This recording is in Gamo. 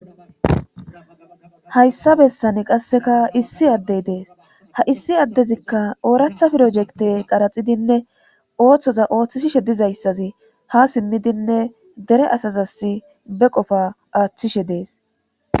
hayssa bessan qasseka issi addey dees ha issi addezikka ooratha pirojekte qaraxidinne ooththoza ooththishishe dizayssazi ha simmidinne dere asazasi be qofa aaththishe dees